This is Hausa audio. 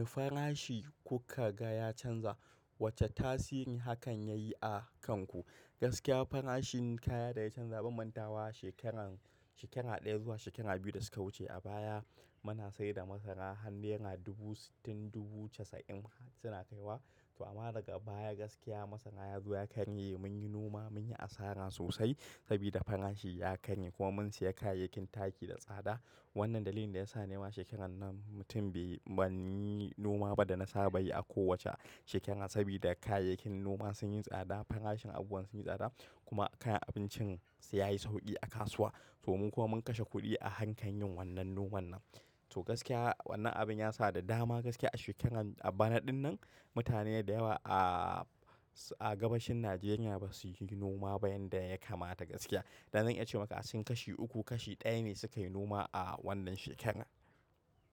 Mai farashi kuka ga ya canza wace tasirin hakan ya yi a kanku? Gaskiya farashin kaya da ya canza bamanta wa shekaran, shekara ɗaya zuwa shekara biyu da suka wuce. A baya muna sayar da masara har nera dubu sittin dubu casa'in suna kaiwa. Toh amma daga baya gaskiya masara yazo ya karye munyi noma munyi asara sosai sabida farashi ya karye kuma mun siya kayayyakin taki da tsada. Wannan dalilin da yasa ne wa shekaran nan mutum bai bani noma ba da na saba yi a kowace shekara sabida kayayyakin noma sun yi tsada, farashin abuwan sun yi tsada kuma kayan abincin sai ya yi sauƙi a kasuwa. To mun kuma mun kashe kuɗi a harkar yin wannan noman nan. To gaskiya wannan abin ya sa da dama gaskiya a shekaran a banaɗin nan mutane da yawa a, a gabashin Najeriya ba su yi noma ba yanda ya kamata gaskiya. Da zan iya ce maka sun kashi uku kashi ɗaya ne suka yi noma a wannan shekaran.